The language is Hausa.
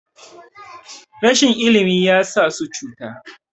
rashin ilimi ya sa su cuta